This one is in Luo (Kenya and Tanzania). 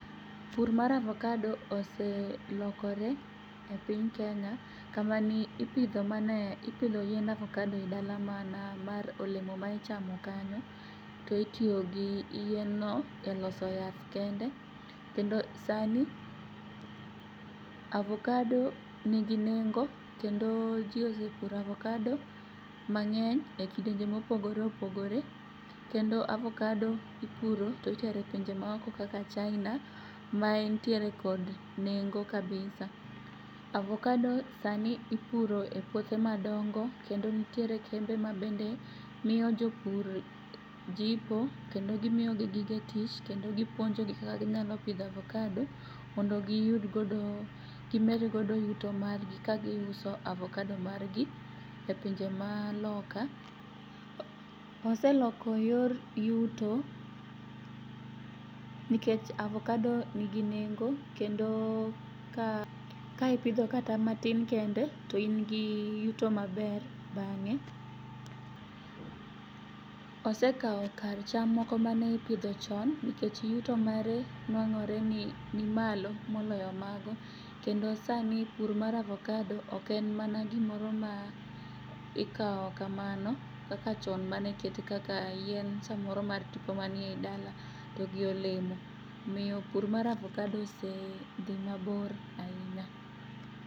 Pur mar avokado oselokore e piny Kenya kamaniipidho mane, ipidho yiend avokado e dalani mana mar olemo maichamo kanyo to itiyogi yienno e loso yath kende. Kendo sani avokado nigi nengo kendo jii osepuro avokado mang'eny e kidenje mopogore opogore kendo avokado ipuro to itere pinje maoko kaka China maentiere kod nengo kabisa. Avokado sani ipuro e puothe madongo kendo nitiere kembe mamiyo japur jipo kendo gimiogi gige tich kendo gipuonjogi kaka ginyalo pidho avokado mondo giyud godo gimedgodo yuto margi ka giuso avokado margi e pinje maloka. Oseloko yor yuto nikech avokado nigi nengo kendo ka ipidho kata matin kende to ingi yuto maber bang'e. Osekao kar cham moko maneipidho chon nikech yuto mare nwang'ore ni nimalo moloyo mago kendo sani pur mar avokado oken mana gimoro ma ikao kamano kaka chon manikete kaka yien samoro mar tipo manie dala to gi olemo. Omiyo pur mar avokado osedhi mabor ainya.